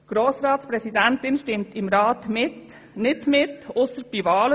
Die Grossratspräsidentin stimmt im Rat nicht mit, ausser bei Wahlen.